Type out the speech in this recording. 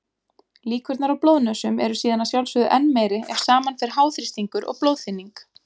Líkurnar á blóðnösum eru síðan að sjálfsögðu enn meiri ef saman fer háþrýstingur og blóðþynning.